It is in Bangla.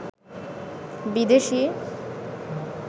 বিদেশি